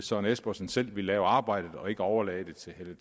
søren espersen selv vil lave arbejdet og ikke overlade det til